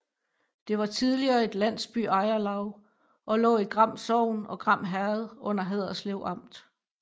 Det var tidligere et landsbyejerlav og lå i Gram Sogn og Gram Herred under Haderslev Amt